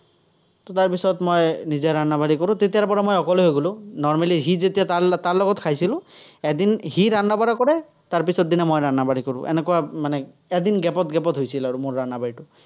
তাৰ পিছত মই নিজে কৰোঁ, তেতিয়াৰপৰা মই অকলে হৈ গ'লো। normally সি যেতিয়া তাৰ লগত তাৰ লগত খাইছিলো, এদিন সি কৰে, তাৰপিছৰ দিনা মই কৰোঁ। এনেকুৱা মানে, এদিন gap ত gap ত হৈছিল আৰু মোৰ ।